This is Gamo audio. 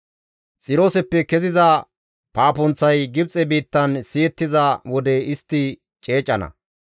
Xirooseppe keziza paapunththay Gibxe biittan siyettiza wode istti ceecana.